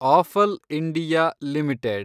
apple India limited